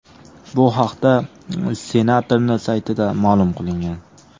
Bu haqda senatorning saytida ma’lum qilingan .